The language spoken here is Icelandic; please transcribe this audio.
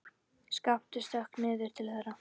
Skapti stökk niður til þeirra.